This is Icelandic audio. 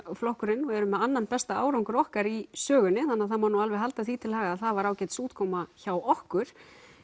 flokkurinn og erum með annan besta árangur okkar í sögunni þannig það má alveg halda því til haga að það var ágætis útkoma hjá okkur